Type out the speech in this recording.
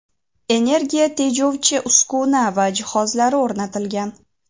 energiya tejovchi uskuna va jihozlari o‘rnatilgan.